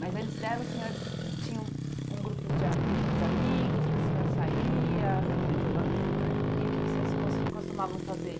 Mas antes dela, o senhor tinha um um grupos de a, grupo de amigos, que o senhor saía... Tinha muitos amigos, é. E o que que vocês cos costumavam fazer?